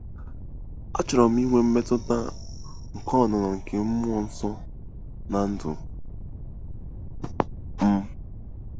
Achọrọ m inwe mmetụta nke ọnụnọ nke mmụọ nsọ ná ndụ m. m.